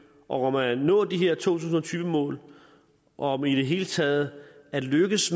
og om at nå de her to tusind og tyve mål og om i det hele taget at lykkes